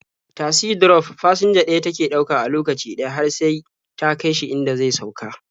Tasi drof fasinja ɗaya take ɗauka a lokaci ɗaya har sai ta kai shi inda zai sauka.